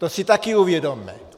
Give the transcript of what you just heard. To si také uvědomme.